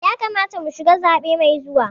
Ya kamata mu shiga zaɓe mai zuwa.